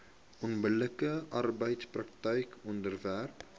onbillike arbeidspraktyke onderwerp